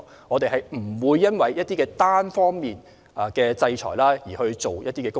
我們不會因為一些單方面實施的制裁而執行一些工作。